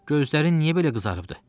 Gözlərin niyə belə qızarıbdı?